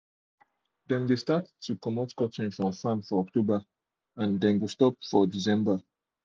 dem de start comot cotton from farm for october they dey stop for december